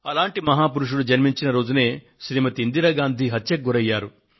అలాంటి మహా పురుషుడు జన్మించిన రోజునే శ్రీమతి ఇందిరాగాంధీ హత్యకు గురయ్యారు